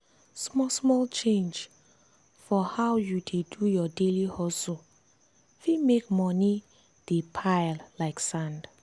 small-small change for how you dey do your daily hustle fit make money dey pile like sand.